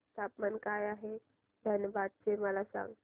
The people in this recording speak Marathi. तापमान काय आहे धनबाद चे मला सांगा